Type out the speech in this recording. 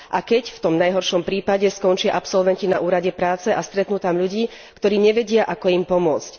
A keď, v tom najhoršom prípade, skončia absolventi na úrade prace a stretnú tam ľudí, ktorí nevedia, ako im pomôcť.